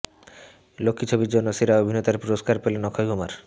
লক্ষ্মী ছবির জন্য সেরা অভিনেতার পুরস্কার পেলেন অক্ষয় কুমার